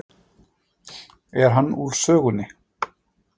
Er hann úr sögunni.